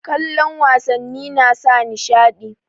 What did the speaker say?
Kallon wasannin nasa nishaɗi